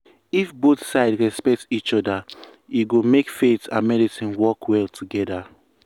if both sides respect each other e go make faith and medicine work well together.